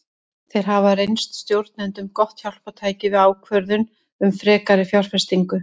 Þeir hafa reynst stjórnendum gott hjálpartæki við ákvörðun um frekari fjárfestingu.